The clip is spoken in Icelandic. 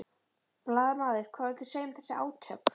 Blaðamaður: Hvað viltu segja um þessi átök?